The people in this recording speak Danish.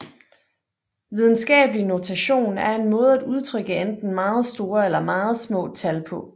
Videnskabelig notation er en måde at udtrykke enten meget store eller meget små tal på